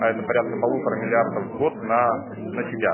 а это порядка полутора миллиардов в год на на себя